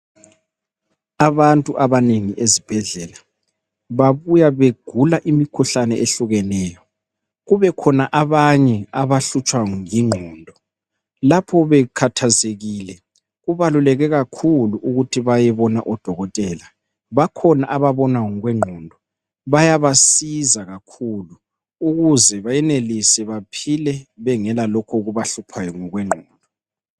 Abantu abanengi ezibhedlela babuya begula imikhuhlane ehlukeneyo. Kube khona abanye abahlutshwa yingqondo, lapho bekhathazekile kubaluleke kakhulu ukuthi bayebona odokotela. Bakhona ababona ngokwengqondo, bayabasiza kakhulu ukuze benelise baphile bengela lokho okubahluphayo ngokwengqondo.